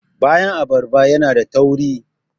bayan abarba yana da tauri